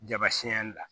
Jabasiyɛri la